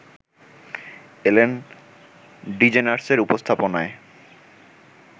এলেন ডিজেনার্সের উপস্থাপনায়